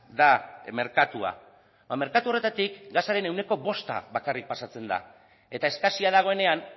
da merkatua eta merkatu horretatik gasaren ehuneko bosta bakarrik pasatzen da eta eskasia dagoenean